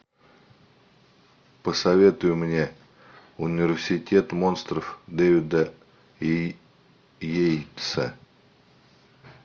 посоветуй мне университет монстров дэвида йейтса